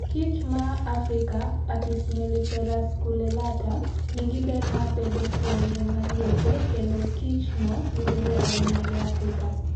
Kich ma a Afrika (Apis mellifera scutellata)nigiber mar bedo kuonde maliete kendo kichlno yudore ahinya e Afrika.